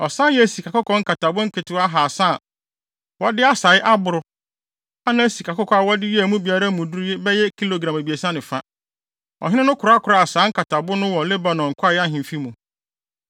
Ɔsan yɛɛ sikakɔkɔɔ nkatabo nketewa ahaasa a wɔde asae aboro a na sikakɔkɔɔ a wɔde yɛɛ emu biara no mu duru bɛyɛ kilogram abiɛsa ne fa. Ɔhene no kɔkoraa saa nkatabo no wɔ Lebanon Kwae Ahemfi mu.